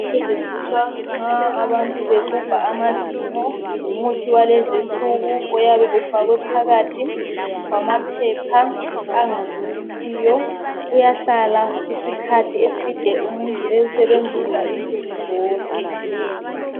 Setshenziswa nxa abantu bexubha amazinyo. Ngumuthi walezinsuku oyabe ufakwe phakathi kwamaphepha angavuzisiyo, uyahlala isikhathi eside umuntu ewusebenzisa insuku zonke.